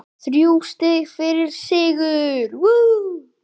Þrjú stig fyrir sigur